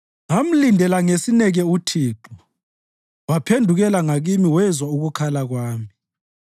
Ngamlindela ngesineke uThixo; waphendukela ngakimi wezwa ukukhala kwami.